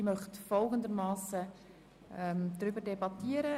Ich möchte wie folgt über die Anträge debattieren: